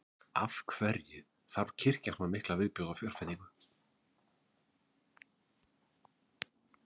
Af hverju þarf kirkjan svona mikla viðbótarfjárveitingu?